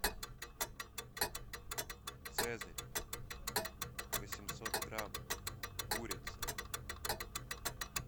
цезарь восемьсот грамм курица